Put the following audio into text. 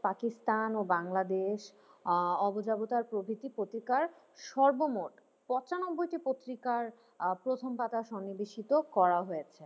পাকিস্তান ও বাংলাদেশ আহ অবযাবতার প্রকৃতি প্রতিকার সর্বমোট পঁচানব্বইটি পত্রিকার আহ প্রথম পাতায় সন্নিবেশিত করা হয়েছে।